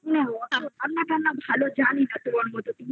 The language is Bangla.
রান্না তান্না আমি বেশ ভালো জানি না তোমার মতন